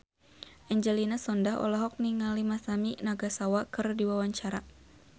Angelina Sondakh olohok ningali Masami Nagasawa keur diwawancara